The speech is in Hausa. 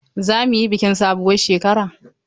Are we going to celebrate new year?